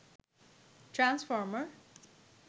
transformer